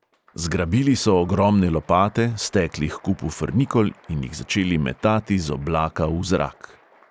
Zgrabili so ogromne lopate, stekli h kupu frnikol in jih začeli metati z oblaka v zrak.